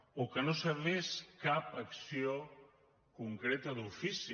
o que no es fes cap acció concreta d’ofici